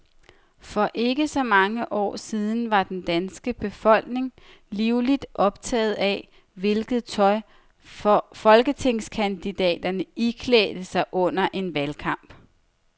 For ikke så mange år siden var den danske befolkning livligt optaget af, hvilket tøj folketingskandidaterne iklædte sig under en valgkamp.